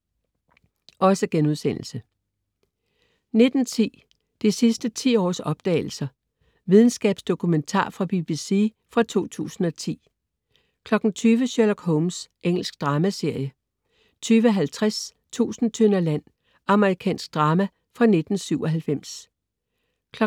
19.10 De sidste ti års opdagelser. Videnskabsdokumentar fra BBC fra 2010 20.00 Sherlock Holmes. Engelsk dramaserie 20.50 Tusind tønder land. Amerikansk drama fra 1997 23.00